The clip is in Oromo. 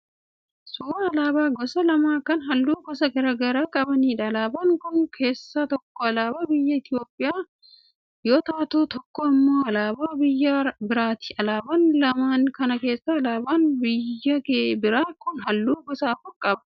Suuraa alaabaa gosa lama kan halluu gosa garaa garaa qabaniidha. Alaabaa kana keessaa tokko alaabaa biyya Itiyoopiyaa yoo taatu, tokko immoo alaabaa biyya biraati. Alaabaa lamaan kana keessaa alaabaan biyya biraa kun halluu gosa afur qaba.